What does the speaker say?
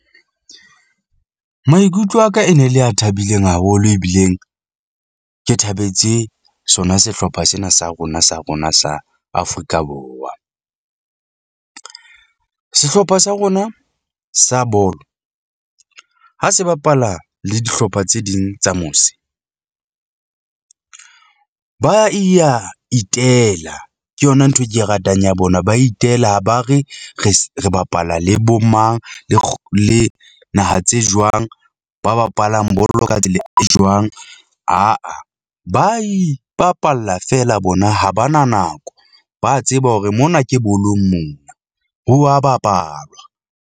Maikutlo a ka e ne le a thabileng haholo ebileng ke thabetse sona sehlopha sena sa rona sa rona sa Afrika Borwa . Sehlopha sa rona sa bolo ha se bapala le dihlopha tse ding tsa mose . Ba iya Itela ke yona nthwe ke e ratang ya bona, ba itela ha ba re re re bapala le bo mang le le naha tse jwang. Ba bapalang bolo ka e jwang aa ba ipapalla feela bona ha ba na nako. Ba tseba hore mona ke bolong mona ho wa bapalwa.